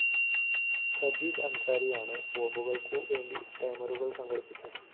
സജീദ് അന്‍സാരിയാണ് ബോംബുകള്‍ക്കു വേണ്ട ടൈമറുകള്‍ സംഘടിപ്പിച്ചത്